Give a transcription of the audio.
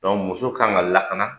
muso ka kan ka lakana.